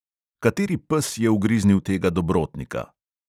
Kateri pes je ugriznil tega dobrotnika?